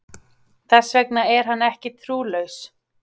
Þess vegna er hann ekki trúlaus.